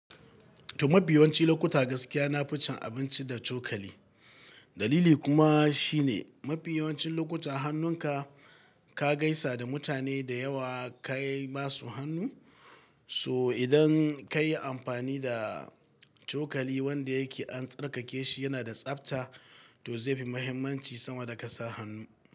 To, mafi yawanci lokuta gaskiya na fice abinci da cokali. Dalili kuma shine mafi yawancin lokuta hannunka ka gaisa da mutane da yawa, ka yi basu hannu. So idan ka yi amfani da cokali wanda yake an tsarkake shi, yana da tsabta, to zai fi mahimmanci sama da ka sa hannu.